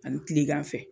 Ani kilegan fɛ